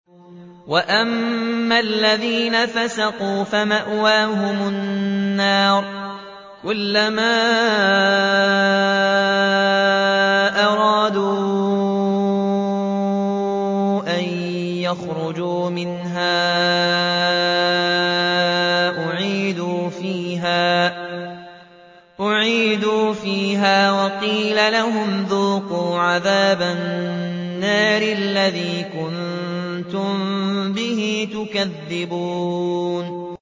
وَأَمَّا الَّذِينَ فَسَقُوا فَمَأْوَاهُمُ النَّارُ ۖ كُلَّمَا أَرَادُوا أَن يَخْرُجُوا مِنْهَا أُعِيدُوا فِيهَا وَقِيلَ لَهُمْ ذُوقُوا عَذَابَ النَّارِ الَّذِي كُنتُم بِهِ تُكَذِّبُونَ